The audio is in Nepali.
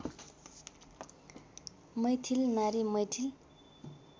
मैथिल नारी मैथिल